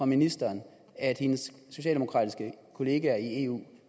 ministeren at hendes socialdemokratiske kollegaer i eu